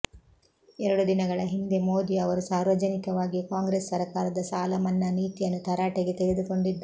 ಎರಡು ದಿನಗಳ ಹಿಂದೆ ಮೋದಿ ಅವರು ಸಾರ್ವಜನಿಕವಾಗಿಯೇ ಕಾಂಗ್ರೆಸ್ ಸರಕಾರದ ಸಾಲ ಮನ್ನಾ ನೀತಿಯನ್ನು ತರಾಟೆಗೆ ತೆಗೆದುಕೊಂಡಿದ್ದರು